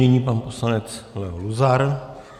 Nyní pan poslanec Leo Luzar.